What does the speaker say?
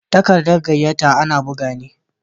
Takaddar gayya ana bugu ne.